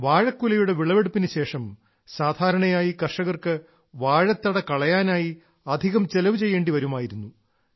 വാഴക്കുലയുടെ വിളവെടുപ്പിനുശേഷം സാധാരണയായി കർഷകർക്ക് വാഴത്തട കളയാനായി അധികം ചെലവ് ചെയ്യേണ്ടി വരുമായിരുന്നു